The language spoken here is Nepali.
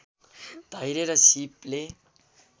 धैर्य र सीपले